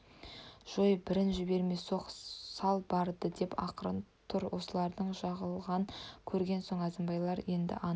жой бірін жібермей соқ сал барды деп ақырып тұр осылардың жығылғанын көрген соң әзімбайлар енді анық